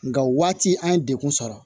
Nka waati an ye degun sɔrɔ